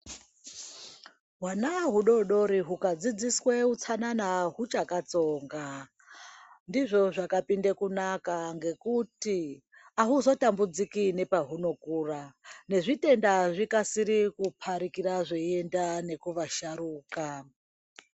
Hwana hudodori huka dzidziswe utsanana hwuchaka tsonga ndizvo zvakapinda kunaka ngekuti ahuzo tambudziki nepa hunokura ne zvitenda zvikasire kuparikira zveyienda neku asharukwa.